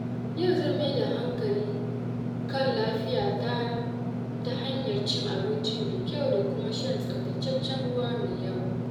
Yau zan mai da hankali kan lafiyata ta hanyar cin abinci mai kyau da kuma shan tsaftataccen ruwa mai yawa.